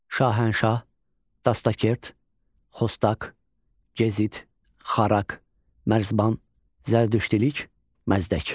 Şahənşah, Dastakert, Xostak, Gezid, Xarak, Mərzban, Zərdüştülük, Məzdək.